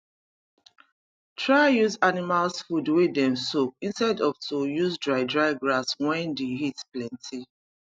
try use animals food wey dem soak instead of to use dry dry grass wen d heat plenty